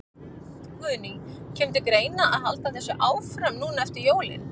Guðný: Kemur til greina að halda þessu áfram núna eftir jólin?